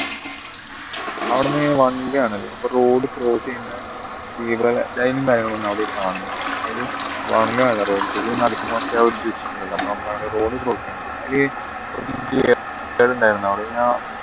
അവിടുന്ന് one way ആണല്ലോ അപ്പൊ road cross ചെയ്യുന്ന zebra line അയില് one way ആണ് road ൽ road cross അവിടെ ഞാൻ